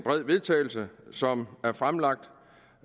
vedtagelse som